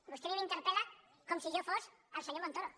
vostè a mi m’interpelsi jo fos el senyor montoro